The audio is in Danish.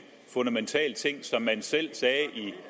fundamentale ting som man selv sagde